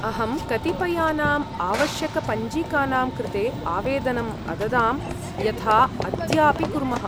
अहं कतिपयानाम् आवश्यकपञ्जिकानां कृते आवेदनम् अददां, यथा अद्याऽपि कुर्मः।